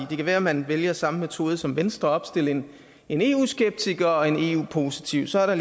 det kan være at man vælger samme metode som venstre nemlig at opstille en eu skeptiker og en eu positiv så er der